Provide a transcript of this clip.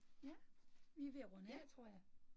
Ja, vi ved at runde af tror jeg